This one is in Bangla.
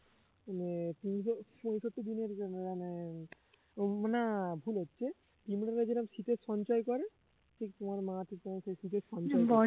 মানে পিঁপড়ে সংসারটা দিনে দিনে ও না ভুল হচ্ছে পিঁপড়েরা যেমন শীতে সঞ্চয় করে ঠিক তোমার মা ঠিক তেমন শীতে সঞ্চয়